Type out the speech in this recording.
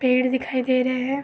पेड़ दिखाई दे रहे हैं।